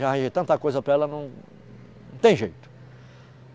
Já arranjei tanta coisa para ela, não... Não tem jeito.